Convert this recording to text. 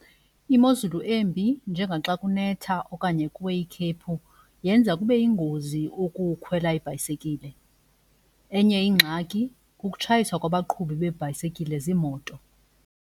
Imozulu embi njengaxakunetha okanye kuwe yikhephu yenza kube yingozi ukukhwela ibhayisekile. Enye ingxaki kukutshayiswa kwabaqhubi beebhayisekile ziimoto.